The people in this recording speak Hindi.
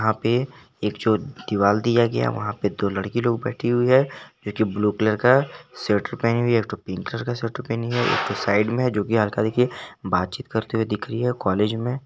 अभी एक छोटी सी दिवाल दिया गया वहां पे दो लड़की लोग बैठी हुई है लेकिन ब्लू कलर का स्वेटर पहनी हुई है एक तो पिंक कलर का पहनी हुई है एक साइड में जो की हर प्रकार की बात चीत करते हुए दिख रही है कॉलेज में।